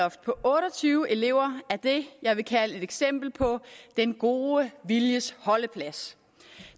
på otte og tyve elever er det jeg vil kalde et eksempel på den gode viljes holdeplads